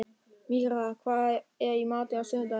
Mirra, hvað er í matinn á sunnudaginn?